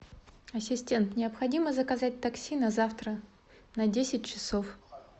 ассистент необходимо заказать такси на завтра на десять часов